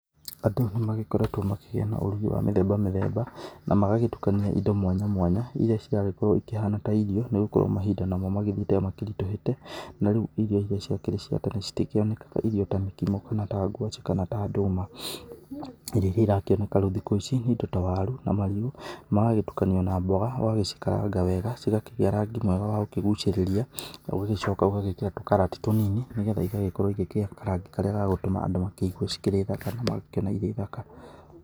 Andũ nĩ magĩkoretwo makĩgĩa na ũrugi wa mĩthemba mĩthemba, na magagĩtukania indo mwanya mwanya iria ciragĩkorwo ikĩhana ta irio nĩ gũkorwo mahinda namo magĩthiĩte makĩritũhĩte, na rĩu irio iria ciakĩrĩ cia tene citikĩonekanaga irio ta mĩkimo, kana ta ngwaci kana ta ndũma. Irio iria rĩu irakĩoneka thikũ ici nĩ indo ta waru, marigũ, magagĩtukanio na mboga, ũgagĩcikaranga wega, cigakĩgĩa rangi mwega wa gũkĩgucĩrĩria, na ũgagĩcoka ũgagĩkĩra tũkarati tũnini, nĩgetha igagĩkorwo ikĩgĩa karangi karĩa gagũtũma andũ makĩigue cikĩrĩ thaka na magakĩona irĩ thaka.